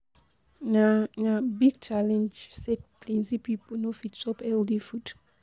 Na Na big challenge sey plenty pipo no fit chop healthy food.